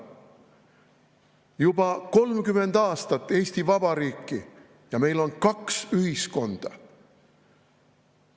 Juba 30 aastat Eesti Vabariiki ja meil on kaks ühiskonda!